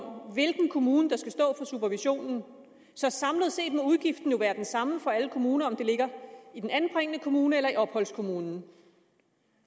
hvilken kommune der skal stå for supervisionen så samlet set må udgiften jo være den samme for alle kommuner uanset om det ligger i den anbringende kommune eller i opholdskommunen